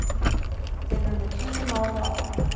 Þeir eru með tugi mála á hann